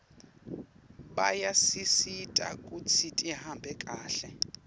bayasisita kutsi tihambe kahle